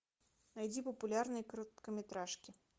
найди популярные короткометражки